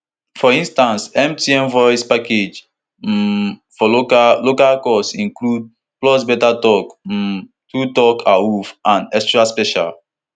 for instance mtn voice package um for local local calls include pulse beta talk um true talk awuffouru and extra special